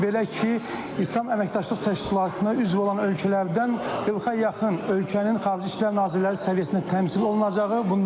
Belə ki, İslam Əməkdaşlıq Təşkilatına üzv olan ölkələrdən 40-a yaxın ölkənin Xarici İşlər Nazirləri səviyyəsində təmsil olunacağı,